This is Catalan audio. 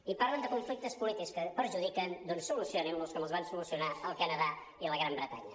i parlen de conflictes polítics que perjudiquen doncs solucionin·los com els van solucionar al canadà i a la gran bretanya